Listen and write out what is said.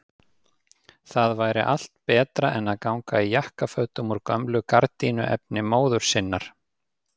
Það væri allt betra en að ganga í jakkafötum úr gömlu gardínuefni móður sinnar!